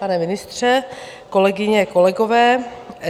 Pane ministře, kolegyně, kolegové.